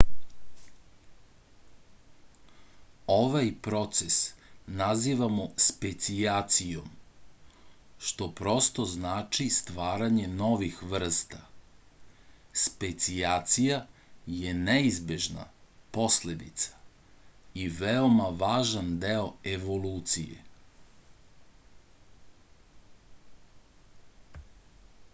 ovaj proces nazivamo specijacijom što prosto znači stvaranje novih vrsta specijacija je neizbežna posledica i veoma važan deo evolucije